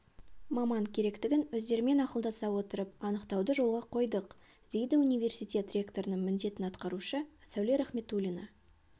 маман керектігін өздерімен ақылдаса отырып анықтауды жолға қойдық дейді университет ректорының міндетін атқарушы сәуле рахметуллина